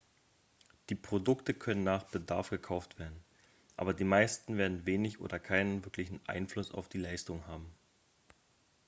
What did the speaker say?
die produkte können nach bedarf gekauft werden aber die meisten werden wenig oder keinen wirklichen einfluss auf die leistung haben